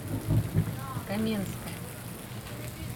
каменская